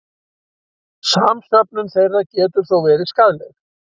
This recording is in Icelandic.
Samsöfnun þeirra getur þó verið skaðleg.